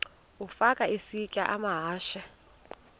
ukafa isitya amahashe